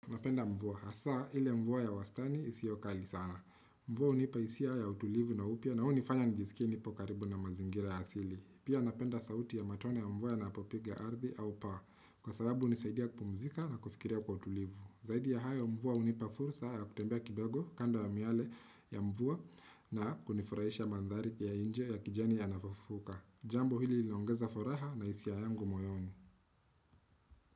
Napenda mvua, hasaa ile mvua ya wastani isio kali sana. Mvua hunipa hisia ya utulivu na upya na hunifanya nijiskie nipo karibu na mazingira ya asili. Pia napenda sauti ya matone ya mvua yanapopiga ardhi au paa. Kwa sababu hunisaidia kupumzika na kufikiria kwa utulivu. Zaidi ya hayo mvua hunipa fursa ya kutembea kidogo kando ya miale ya mvua na kunifurahisha mandhari ya nje ya kijani yanavyofufuka. Jambo hili linaongeza furaha na hisia yangu moyoni.